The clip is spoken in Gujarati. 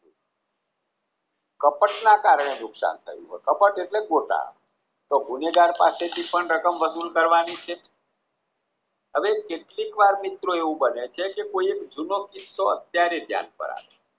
કપટના કારણે નુકશાન થયું હોય. કપટ એટલે ગોટાળો તો ગુનેગાર પાસેથી પણ રકમ વસુલ કરવાની છે. હવે કેટલીક વાર મિત્રો એવું બને છે કે કોઈ એક જૂનો કિસ્સો અત્યારે ધ્યાન પર આવે